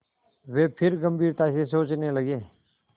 वे फिर गम्भीरता से सोचने लगे